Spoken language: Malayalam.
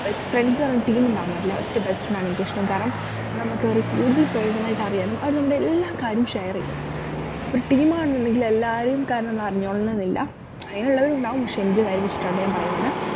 best friends എന്ന് പറഞ്ഞ team ഉണ്ടാവാൻ പാടില്ല ഒറ്റ best friend ആണ് എനിക്കിഷ്ടം കാരണം നമുക്ക് ഒരു കൂടുതൽ personal ആയിട്ട് അറിയാനും അവരെ നമ്മടെ എല്ലാ കാര്യം share ചെയ്യും ഇപ്പോരു team ആണുന്നുണ്ടെങ്കിൽ എല്ലാരെയും കാര്യം നമ്മൾ അറിഞ്ഞോളണംന്നില്ല അങ്ങനെയുള്ളവരുഇണ്ടാവും പക്ഷെ എന്റെ കാര്യം വെച്ചിട്ടാട്ടോ ഞാൻ പറയുന്നത്